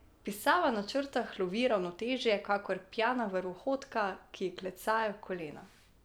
Pisava na črtah lovi ravnotežje kakor pijana vrvohodka, ki ji klecajo kolena.